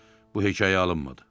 Bu hekayə alınmadı.